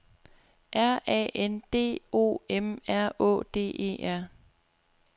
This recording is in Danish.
R A N D O M R Å D E R